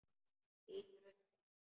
Lítur upp til hans.